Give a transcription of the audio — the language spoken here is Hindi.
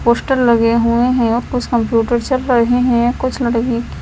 पोस्टर लगे हुए हैं कुछ कंप्यूटर चल रहे हैं कुछ लड़की--